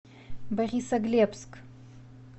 борисоглебск